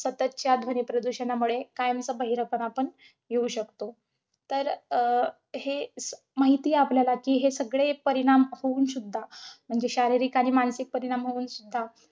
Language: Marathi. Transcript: सततच्या ध्वनीप्रदूषणामुळे, कायमचा बहिरेपणा पण येऊ शकतो. तर अं हे अं माहिते आपल्याला कि हे सगळे परिणाम होऊन सुद्धा. म्हणजे शारीरिक आणि मानसिक परिणाम होऊन सुद्धा